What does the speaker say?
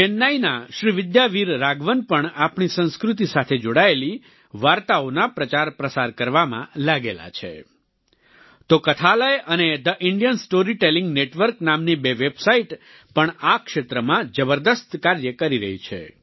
ચેન્નઈના શ્રીવિદ્યા વીર રાઘવન પણ આપણી સંસ્કૃતિ સાથે જોડાયેલી વાર્તાઓના પ્રચારપ્રસાર કરવામાં લાગેલા છે તો કથાલય અને the Indian story telling network નામની બે વેબસાઈટ પણ આ ક્ષેત્રમાં જબરદસ્ત કાર્ય કરી રહી છે